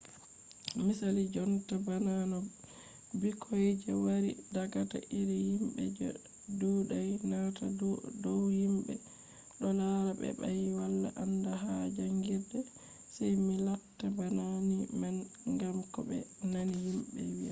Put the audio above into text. misali jonta bana no ɓikkoy je wari daga iri yimɓe je ɗuuɗai nanata dow yimɓe ɗo laara ɓe ba ɓe wala aandal ha jaangirde sey mi latta bana ni man ngam ko ɓe nani yimɓe wiyata